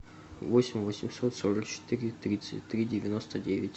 восемь восемьсот сорок четыре тридцать три девяносто девять